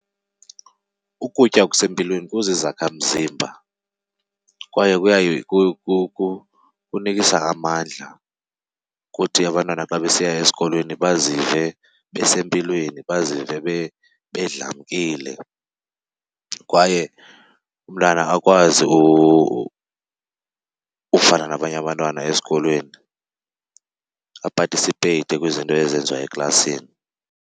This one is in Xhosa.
Ukutya okusempilweni kuzizakhamzimba kwaye kunikisa amandla ukuthi abantwana xa besiya esikolweni bazive besempilweni, bazive bedlamkile kwaye umntana akwazi ufana nabanye abantwana esikolweni apatisipeyite kwizinto ezenziwa eklasini.